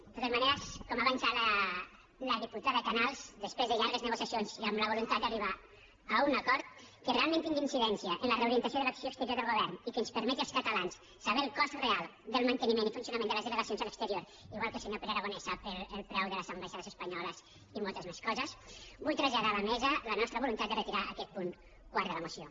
de totes maneres com ha avançat la diputada canals després de llargues negociacions i amb la voluntat d’arribar a un acord que realment tingui incidència en la reorientació de l’acció exterior del govern i que ens permeti als catalans saber el cost real del manteniment i funcionament de les delegacions a l’exterior igual que el senyor pere aragonès sap el preu de les ambaixades espanyoles i moltes més coses vull traslladar a la mesa la nostra voluntat de retirar aquest punt quart de la moció